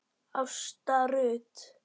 Ásta Rut.